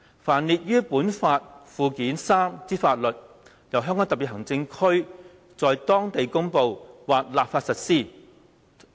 凡列於本法附件三之法律，由香港特別行政區在當地公布或立法實施。